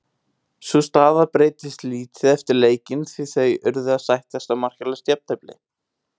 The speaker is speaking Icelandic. Sú staða breytist lítið eftir leikinn því þau urðu að sættast á markalaust jafntefli.